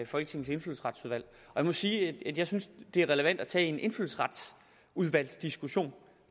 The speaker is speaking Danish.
folketingets indfødsretsudvalg jeg må sige at jeg synes det er relevant at tage en indfødsretsudvalgsdiskussion